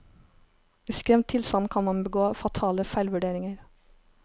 I skremt tilstand kan man begå fatale feilvurderinger.